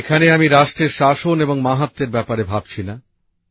এখানে আমি রাষ্ট্রের শাসন এবং মাহাত্ম্যের ব্যপারে ভাবছি না